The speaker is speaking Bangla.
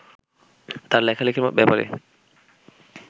তাঁর লেখালেখির ব্যাপারে